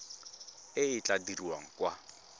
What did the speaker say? e e tla dirwang kwa